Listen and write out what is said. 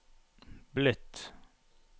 blitt